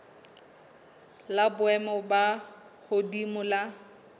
la boemo bo hodimo la